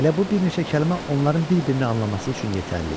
Elə bu bir neçə kəlmə onların bir-birini anlaması üçün yetərli idi.